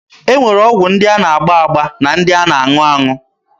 E nwere ọgwụ ndị a na-agba agba na ndị a na-aṅụ aṅụ.